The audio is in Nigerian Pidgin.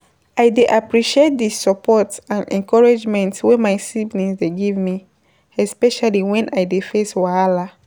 I dey appreciate dey support and encouragement wey my siblings dey give me, especially when I dey face wahala.